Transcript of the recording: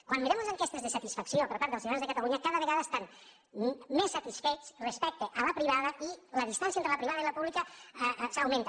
quan mirem les enquestes de satisfacció per part ciutadans de catalunya cada vegada estan més satisfets respecte a la privada i la distància entre la privada i la pública augmenta